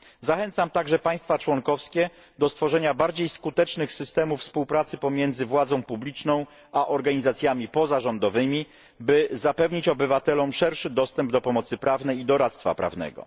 Zachęcam także państwa członkowskie do stworzenia bardziej skutecznych systemów współpracy pomiędzy władzą publiczną a organizacjami pozarządowymi, by zapewnić obywatelom szerszy dostęp do pomocy prawnej i doradztwa prawnego.